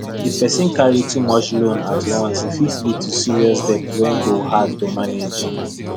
if person carry too many loans at once e fit lead to serious debt wey go hard to manage